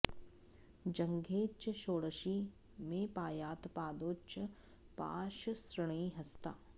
जङ्घे च षोडशी मे पायात् पादौ च पाशसृणि हस्ता